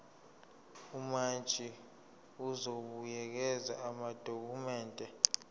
umantshi uzobuyekeza amadokhumende